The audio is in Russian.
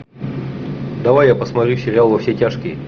давай я посмотрю сериал во все тяжкие